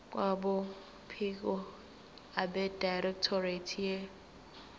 kwabophiko abedirectorate ye